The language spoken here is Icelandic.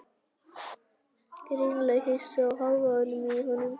Greinilega hissa á hávaðanum í honum.